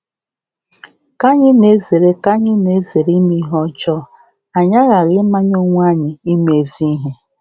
Ka anyị na-ezere Ka anyị na-ezere ime ihe ọjọọ, um anyị aghaghị ịmanye onwe anyị ime ezi ihe.